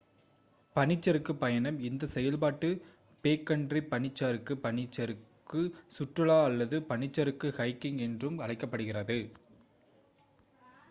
பனிச்சறுக்குப் பயணம் இந்த செயல்பாடு பேக்கண்ட்ரி பனிச்சறுக்கு பனிச்சறுக்கு சுற்றுலா அல்லது பனிச்சறுக்கு ஹைக்கிங் என்றும் அழைக்கப்படுகிறது